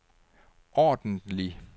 ordentlig